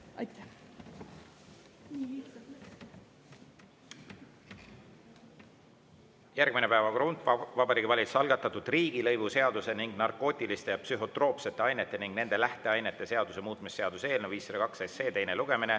Järgmine päevakorrapunkt: Vabariigi Valitsuse algatatud riigilõivuseaduse ning narkootiliste ja psühhotroopsete ainete ning nende lähteainete seaduse muutmise seaduse eelnõu 502 teine lugemine.